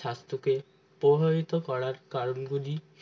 স্বাস্থ্যকে প্রভাবিত করার কারণগুলি